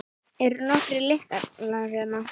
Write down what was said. Eru nokkrir lyklar hérna?